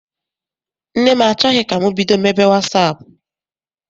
Nne m achọghị ka m bido mebe wasaapụ.